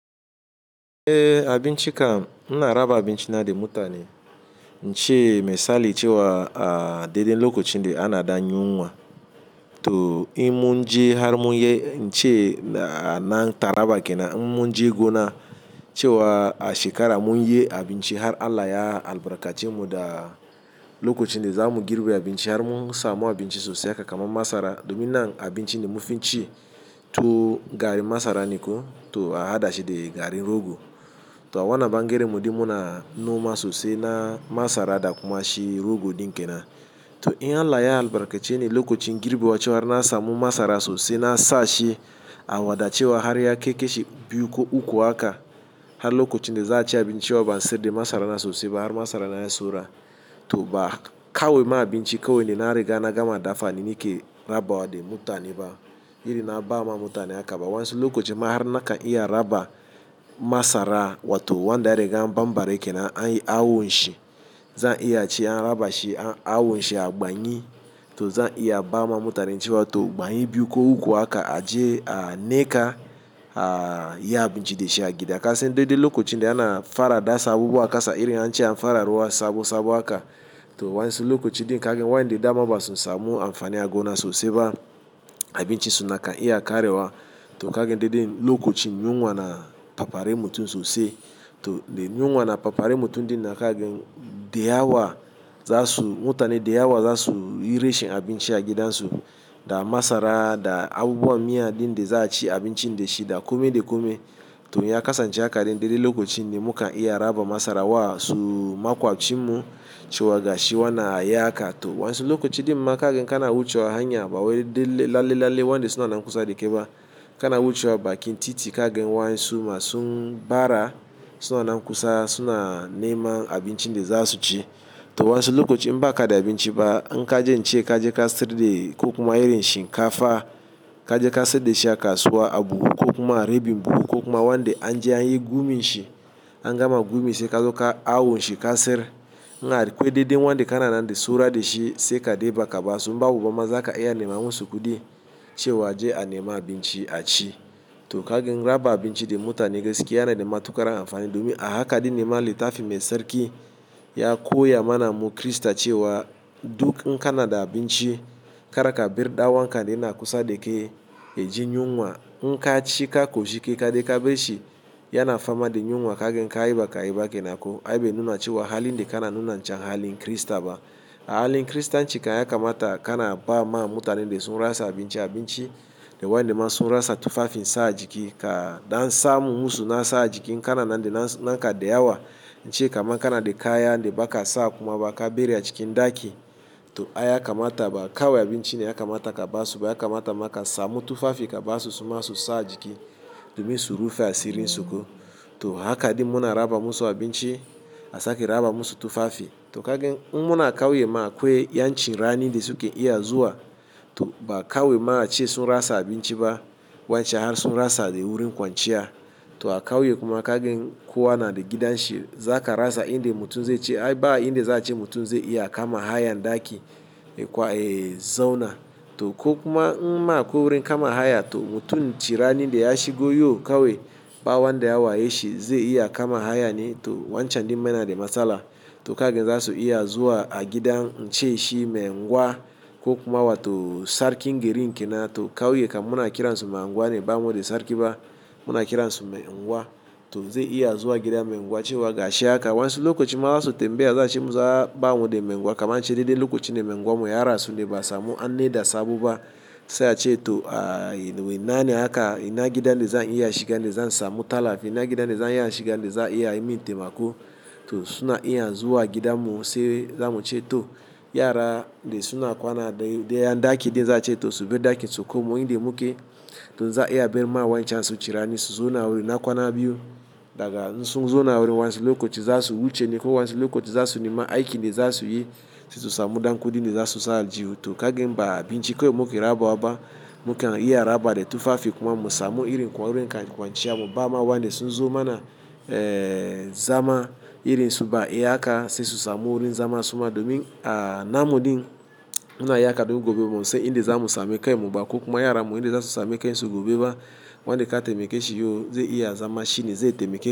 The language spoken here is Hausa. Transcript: Eh abinci kam ina raba abinci na da mutane, ince misali cewa a dai dai lokacin da ana ɗan nyuwa. To in mun je har mun yi ince nan taraba kenan in mun je gona cewa a shekara mun yi abinci har Allah ya albarkace mu da lokacin da za mu girbe abinci har mun samu abinci sosai haka kaman masara. Domin nan abinci da mufi ci to garin masara ne ko to a haɗa shi da garin rogo. To a wannan bangaren mu dai muna noma sosai na masara da kuma shi rogo ɗin kenan. To in Allah ya albarkace ni lokacin girbi wucewar na samu masara sosai na sa shi a waɗa cewa har ya keke shi biyu ko uku haka. Har lokacin da za a ci abinci cewa ban siyar da masara na sosai ba har masara na yayi saura. To ba kawai ma abinci kawai ne na riga na gama dafa ni ke raba wa da mutane ba. Irin na ba ma mutane haka ba. Wancan lokacin ma har na kan iya raba masara wato wanda ya riga an ɓanɓare kenan an yi awon shi. Zan iya cewa an raba shi an yi awon shi a ban yi to zan iya ba ma mutanen cewa to ban yi biyu ko uku haka a je a niƙa a yi abinci da shi a gida. Kasandai duk okacin da ana fara dasa abubuwa ƙasa irin an ce an fara ruwa sabo sabo haka. To waƴansu ɗin kaga waƴanda da dama ba su samu amfani a gona sosai ba. Abinci suna kan iya ƙarewa to kaga dai dai lokacin yunwa na fafare mutum sosai. To da yuwa na fafare mutum dai na kagn daya wa za su mutane daya wa za su yi rashin abinci a gidansu da masara da abubuwan miya ɗin da za a ci abincin da shi da kome da kome. To ya kasance haka ɗin dai dai lokacin da mukan iya raba masara wa su maƙwabcin mu cewa gashi wannan ayi haka to waƴansu lokacin ɗinma kaga in kana wucewa hanya ba wai lalle wanda suna na kusa da kai ba. Kana wucewa bakin titi kaga waƴansu masu bara suna nan kusa suna neman abincin da za su ci. To waƴansu lokacin ba ka da abinci ba in ka je nce ka je ka sirri da ko kuma irin shinkafa ka je ka sirri da shi a kasuwa a buhu ko kuma a ribi buhu ko kuma wanda an je an yi gumi shi an gama gumi sai ka zo kai awon shi ka siyar. In akwai dai dai wanda kana nan da saura da shi sai ka ɗiba ka ba su. In babu ma za ka iya neman wasu kuɗi cewa je a nema abinci a ci. To kaga raba abinci da mutane gaskiya yana da matuƙar amfani domin a haka ɗin nema littafin mai tsarki ya koya mana mu Kirista ma cewa duk in kana da abinci kar ka bar ɗan uwanks yana kusa da kai ya ji nyuwa. In ka ci ka ƙoshi kai ka ɗai barshi yana fama da yunwa kaga in kayi ba kenan ko. Ai bai nuna cewa halin da kana nuna can halin Kirista ba. A halin Kiristanci kan ya kamata kana ba ma mutanen da sun rasa abinci abinci da wanda masun rasa tufafin sa a jiki. Kaɗan samu musu na sa a jiki kana nan da naka daya wa ince kaman kana da kaya da ba ka sa kuma ba ka biya cikin ɗaki. To ai ya kamata ba kawai abinci ne ya kamata ka ba su ba ya kamata ma ka samu tufafi ka ba su suma su sa a jiki domin su rufe asirin su ko. To haka dai muna raba musu abinci a sake raba musu tufafi. To kaga in muna ƙauye ma akwai yan ci rani da suke iya zuwa. To ba kawai ma a ce sun rasa abinci ba wancan har sun rasa dai wurin kwanciya. To a ƙauye kuma kowa na da gidan shi za ka rasa inda mutum zai ce ai ba inda za a ci mutum zai iya kama hayar ɗaki ya zauna. To ko kuma in ma akwai wurin kama haya to mutum ci rani da ya shigo yau kawai ba wanda ya wa ya shi zai iya kama haya ne. To wancan ɗinma na da matsala. To kaga za su iya zuwa a gidan ince shi mai unguwa ko kuma wato sarkin gari kenan to ƙauye kam muna kiransu mai unguwa ne ba muda sarki ba muna kiransu mai unguwa. To zai iya zuwa gidan mai unguwa cewa gashi haka waƴansu lokacin ma za su tambaya azo ace masu a'a bamu da mai unguwa kaman ce daidai lokacin da mai unguwa mu ya rasu ne ba a samu an naɗa sabo ba. Sai a ce to a ina ne haka ina gidan da zan iya shiga da zan samu tallafi ina gidan da zan iya shiga da za a iya min taimako. To suna iya zuwa gidan mu sai zamu ce to yara dai suna kwana dai ɗayan ɗaki dai to za a ce to subar ɗakin su komo inda muke. To za a iya barma wancan su ci rani su zauna wurin na kwana biyu daga nan sun zauna wurin wancan lokacin za su wuce ne ko wancan lokacin za su nema aiki da za su yi. Sai su samu ɗan kuɗin da zasu sa aljihu. To kagin ba abinci kawai muke raba wa ba mukan iya raba da tufafi kuma mu samu irin kwari kwanciya mu ba ma wanda sun zo mana eh zama irin su ba iya haka sai su samu wurin zama suma domin a namu ɗin muna iya haɗu gobe mu san inda za mu same kai mu ba ko kuma yara mu inda za su sami kansu gobe ba. Wanda ka taimake shi yau zai iya zama shi ne zai taimake ka.